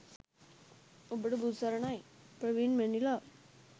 ඔබට බුදු සරණයි! ප්‍රවීන් මැනිලා